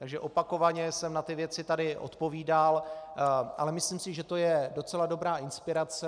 Takže opakovaně jsem na ty věci tady odpovídal, ale myslím si, že to je docela dobrá inspirace.